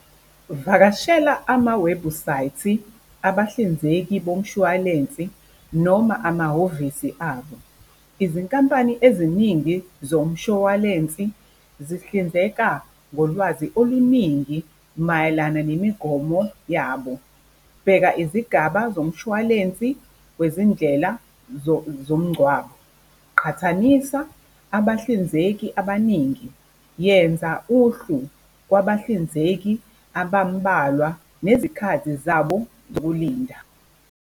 Vakashela amawebhusayithi abahlinzeki bomshwalensi noma amahhovisi abo. Izinkampani eziningi zomshwalensi zihlinzeka ngolwazi oluningi mayelana nemigomo yabo, bheka izigaba zomshwalensi wezindlela zomngcwabo, qhathanisa abahlinzeki abaningi, yenza uhlu lwabahlinzeki abambalwa nezikhathi zabo zokulinda.